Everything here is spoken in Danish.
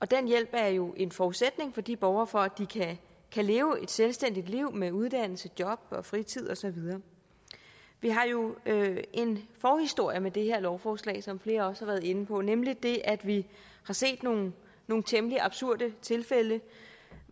den hjælp er jo en forudsætning for de borgere for at de kan leve et selvstændigt liv med uddannelse job og fritid og så videre vi har jo en forhistorie med det her lovforslag som flere også har været inde på nemlig det at vi har set nogle nogle temmelig absurde tilfælde